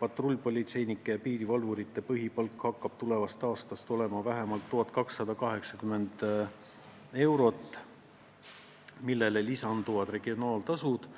patrullpolitseinike ja piirivalvurite põhipalk hakkab tulevast aastast olema vähemalt 1280 eurot, millele lisanduvad regionaaltasud.